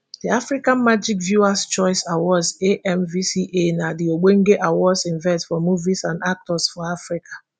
di africa magic viewers choice awards amvca na di ogbonge awards event for movies and actors for africa